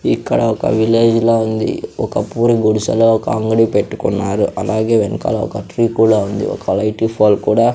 ఇక్కడ ఒక విలేజ్ లా ఉంది ఒక పూరి గుడిసెలో ఒక అంగడి పెట్టుకున్నారు అలాగే వెన్కల ఒక ట్రీ కూడా ఉంది ఒక లైటి పోల్ కూడా--